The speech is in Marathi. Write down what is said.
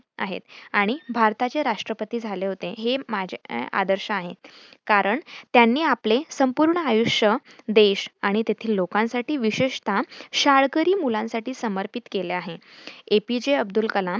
आहेत आणि भारताचे राष्ट्रपती झाले होते. हे माझे आदर्श आहेत, कारण त्यांनी आपले संपूर्ण आयुष्य देश आणि तेथील लोकांसाठी विशेषतः शाळकरी मुलांसाठी समर्पित केलं आहे. A. P. J. Abdul Kalam